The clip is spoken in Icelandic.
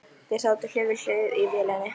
Þeir sátu hlið við hlið í vélinni.